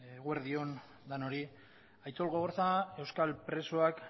eguerdi on denoi aitzol gogorza euskal presoak